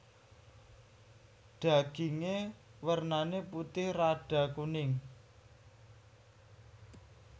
Daginge wernane putih rada kuning